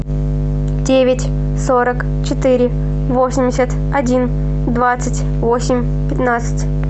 девять сорок четыре восемьдесят один двадцать восемь пятнадцать